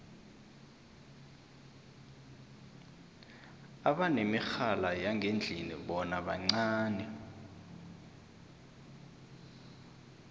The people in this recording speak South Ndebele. abanemirhala yangendlini bona bancani